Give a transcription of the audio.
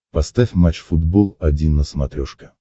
поставь матч футбол один на смотрешке